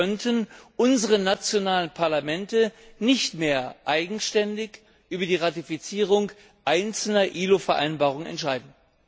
Dann könnten unsere nationalen Parlamente nicht mehr eigenständig über die Ratifizierung einzelner ILO Vereinbarungen entscheiden.